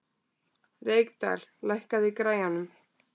Reykdal, lækkaðu í græjunum.